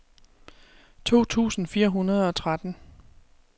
to tusind fire hundrede og tretten